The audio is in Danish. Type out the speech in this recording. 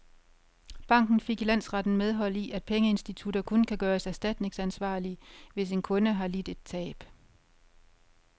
Banken fik i landsretten medhold i, at pengeinstitutter kun kan gøres erstatningsansvarlige, hvis en kunde har lidt et tab.